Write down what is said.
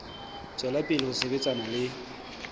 tswela pele ho sebetsana le